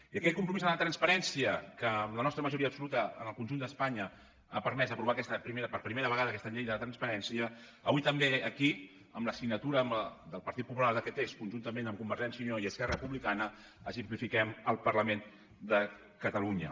i aquest compromís amb la transparència que amb la nostra majoria absoluta en el conjunt d’espanya ha permès aprovar per primera vegada aquesta llei de la transparència avui també aquí amb la signatura del partit popular d’aquest text conjuntament amb convergència i unió i esquerra republicana exemplifiquem al parlament de catalunya